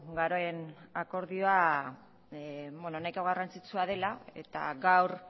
garen akordioa nahiko garrantzitsua dela eta gaur